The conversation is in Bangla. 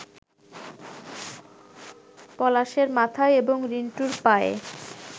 পলাশের মাথায় এবং রিন্টুর পায়ে